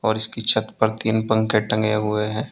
और इसकी छत पर तीन पंखे टंगे हुए हैं।